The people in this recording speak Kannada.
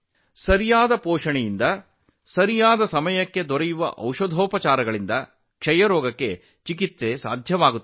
ಸರಿಯಾದ ಪೋಷಣೆಯೊಂದಿಗೆ ಸರಿಯಾದ ಸಮಯದಲ್ಲಿ ಸರಿಯಾದ ಔಷಧಿಗಳೊಂದಿಗೆ ಕ್ಷಯಯನ್ನು ಗುಣಪಡಿಸಲು ಸಾಧ್ಯವಿದೆ